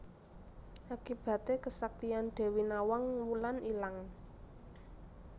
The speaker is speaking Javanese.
Akibaté kesaktian Dewi Nawang Wulan ilang